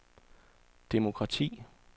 demokrati